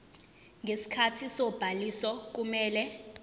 ngesikhathi sobhaliso kumele